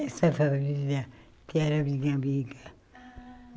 Essa família que era minha amiga. Ah